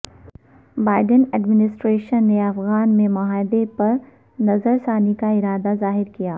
Biden administration نے افغان امن معاہدے پر نظرثانی کا ارادہ ظاہر کیا